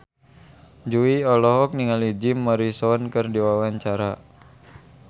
Jui olohok ningali Jim Morrison keur diwawancara